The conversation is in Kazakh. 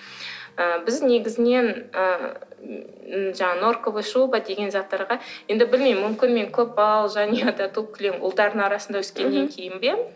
ы біз негізінен ыыы жаңағы норковый шуба деген заттарға енді білмеймін мүмкін мен көпбалалы жанұяда туып кілең ұлдардың арасында өскеннен кейін бе